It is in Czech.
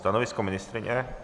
Stanovisko ministryně?